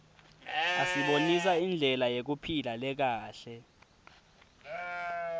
asibonisa indlela yekuphila lekahle